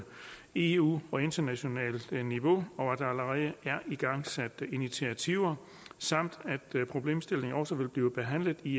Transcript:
eu og internationalt niveau og at der allerede er igangsat initiativer samt at problemstillingen også vil blive behandlet i